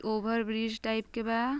over bridge type के बा |